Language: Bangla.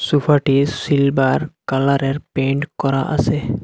সোফাটি সিলভার কালারের পেইন্ট করা আসে।